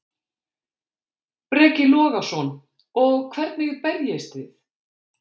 Breki Logason: Og hvernig berjist þið?